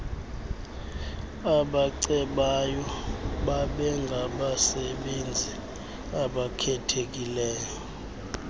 abacebayo babengabasebenzi abakhethekileyo